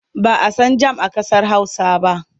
Ba a san jam a ƙasar Hausa ba da.